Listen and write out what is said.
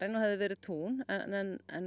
og hefði verið tún en